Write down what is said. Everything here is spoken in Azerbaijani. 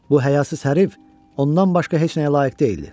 Bu həyasız hərif ondan başqa heç nəyə layiq deyildi.